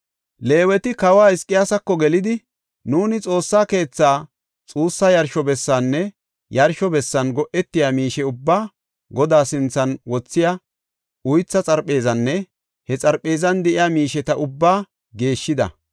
Leeweti kawa Hizqiyaasako gelidi, “Nuuni Xoossa keethaa, xuussa yarsho bessaanne yarsho bessan go7etiya miishe ubbaa, Godaa sinthan wothiya uythaa xarpheezanne he xarpheezan de7iya miisheta ubbaa geeshshida.